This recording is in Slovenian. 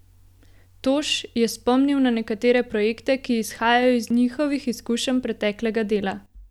Toš je spomnil na nekatere projekte, ki izhajajo iz njihovih izkušenj preteklega dela.